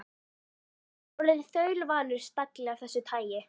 Ég er orðinn þaulvanur stagli af þessu tagi.